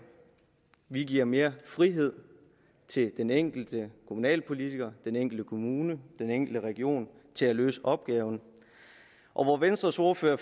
vi giver mere frihed til den enkelte kommunalpolitiker den enkelte kommune den enkelte region til at løse opgaven venstres ordfører